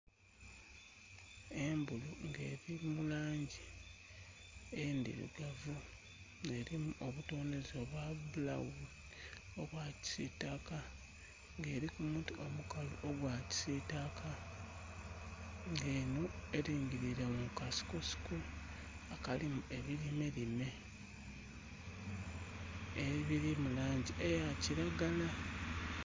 Embulu nga eri mulangi endhirugavu nga erimu obutoneze obwabbulawuni, obwakisitaka nga erikumuti omukalu ogwakisitaka nga eno erigirire mukasiko siko akalimu ebirimerime ebiri mulangi eyakiragala.